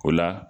O la